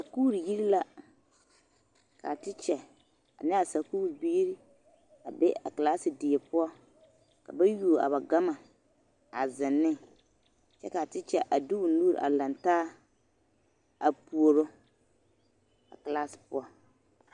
Sakuuri yiri la k'a tekya ne a sakuuri biiri a be a kilaasi die poɔ ka ba yuo a ba gama a zeŋ ne kyɛ k'a tekya a de o nuuri lantaa a puoro a kilaasi poɔ.